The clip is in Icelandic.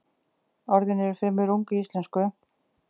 Orðin eru fremur ung í íslensku.